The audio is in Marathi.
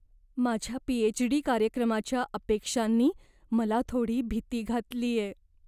माझ्या पीएचडी कार्यक्रमाच्या अपेक्षांनी मला थोडी भीती घातलीये.